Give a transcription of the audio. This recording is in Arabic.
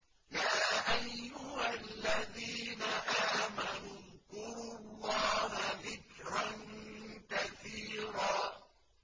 يَا أَيُّهَا الَّذِينَ آمَنُوا اذْكُرُوا اللَّهَ ذِكْرًا كَثِيرًا